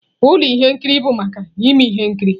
Ụlọ ihe nkiri bụ maka ime ihe nkiri.